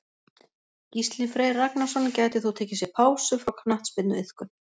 Gísli Freyr Ragnarsson gæti þó tekið sér pásu frá knattspyrnuiðkun.